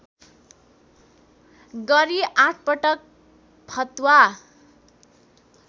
गरी आठपटक फतवा